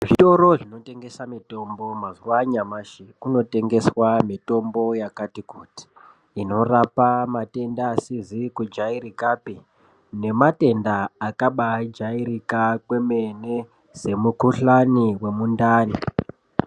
Zvitoro zvinotengesa mitombo mazuva anyamashi kunotengeswa mitombo Yakati kuti inorapa matenda asizi kujairikapi nematenda akajairika kwemene Semukuhlai wemundani.